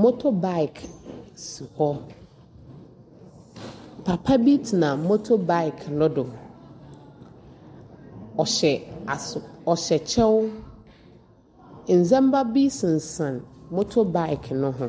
Moto Baek si hɔ. Papa bi tsena moto Baek no do, ɔhyɛ kyɛw. Ndzema bi sensɛn moto Baek no ho.